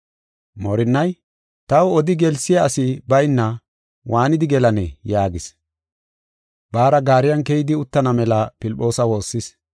Moorinnay, “Taw odi gelsiya asi bayna waanidi gelanee?” yaagis. Baara gaariyan keyidi uttana mela Filphoosa woossis.